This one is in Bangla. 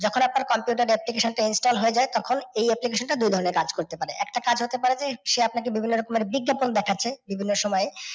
যখন আপনার computer application টা install হয়ে যায় তখন এই application টা দুই ভাবে কাজ করতে পারে। একটা কাজ হতে পারে যে সে আপনাকে বিভিন্ন রকমের বিজ্ঞাপন দেখাছে যেগুলোর সময়